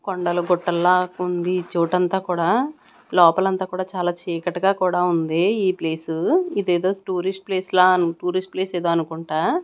కొండలు గుట్టల్లా ఉంది చోటంతా కూడా లోపల అంతా కూడా చాలా చీకటిగా కూడా ఉంది ఈ ప్లేసు ఇదేదో టూరిస్ట్ ప్లేస్ లా టూరిస్ట్ ప్లేస్ ఏదో అనుకుంటా--